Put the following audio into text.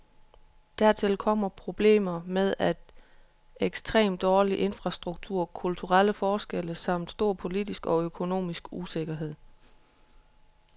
Dertil kommer problemer med at ekstrem dårlig infrastruktur, kulturelle forskelle samt stor politisk og økonomisk usikkerhed.